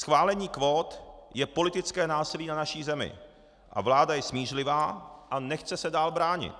Schválení kvót je politické násilí na naší zemí a vláda je smířlivá a nechce se dál bránit.